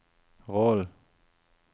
rollen